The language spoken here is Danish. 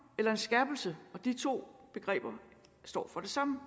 eller en skærpelse og de to begreber står for det samme